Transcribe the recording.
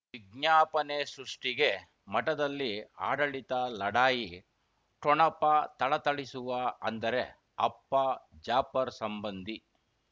ವಿಜ್ಞಾಪನೆ ಸೃಷ್ಟಿಗೆ ಮಠದಲ್ಲಿ ಆಡಳಿತ ಲಢಾಯಿ ಠೊಣಪ ಥಳಥಳಿಸುವ ಅಂದರೆ ಅಪ್ಪ ಜಾಫರ್ ಸಂಬಂಧಿ